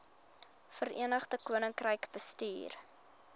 verenigde koninkryk bestuur